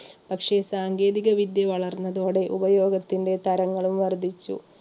പക്ഷേ സാങ്കേതികവിദ്യ വളർന്നതോടെ ഉപയോഗത്തിന്റെ തരങ്ങളും വർദ്ധിച്ചു.